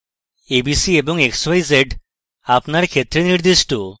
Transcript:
abc এবং xyz আপনার ক্ষেত্রে নির্দিষ্ট